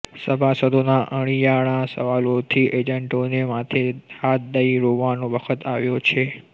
સભાસદોના અણિયાળા સવાલોથી એજન્ટોને માથે હાથ દઇ રોવાનો વખત આવ્યો છે